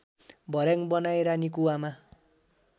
भर्‍याङ बनाई रानीकुवामा